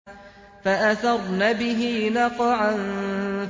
فَأَثَرْنَ بِهِ نَقْعًا